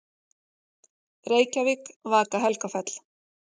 Reykjavík, Vaka-Helgafell.